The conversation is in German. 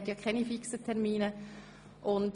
Wir haben aber keine fixen Termine mehr.